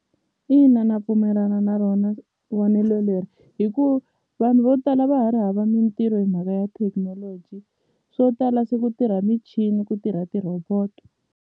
Ina na pfumelana na rona vonelo leri hi ku vanhu vo tala va ha ri hava mintirho hi mhaka ya thekinoloji swo tala se ku tirha michini ku tirha ti roboto.